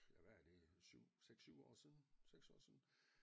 Ja hvad er det 7 6 7 år siden 6 år siden